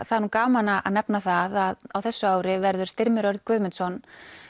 það er nú gaman að nefna það að á þessu ári verður Styrmir Örn Guðmundsson